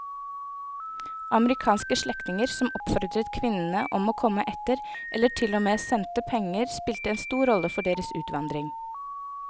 Amerikanske slektninger som oppfordret kvinnene om å komme etter eller til og med sendte penger spilte en stor rolle for deres utvandring.